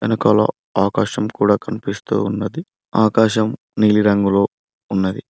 వెనకాల ఆకాశం కూడా కనిపిస్తూ ఉన్నది ఆకాశం నీలిరంగులో ఉన్నది.